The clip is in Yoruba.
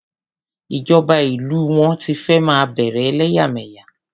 Ìjọba ìlú wọn ti fẹ́ máa bẹ̀rè ẹlẹ́yàmẹ̀yà.